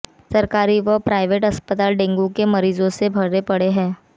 सरकारी व प्राइवेट अस्पताल डेंगू के मरीजों से भरे पड़े हैं